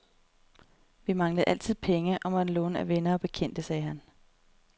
Vi manglede altid penge og måtte låne af venner og bekendte, sagde han.